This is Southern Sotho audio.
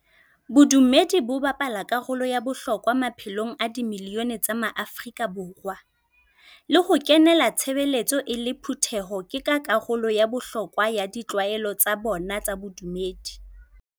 Bodumedi bo bapala karolo ya bohlokwa maphelong a di milione tsa maAfrika Borwa, le ho kenela tshebeletso e le phutheho ke ka karolo ya bohlokwa ya ditlwaelo tsa bona tsa bodumedi.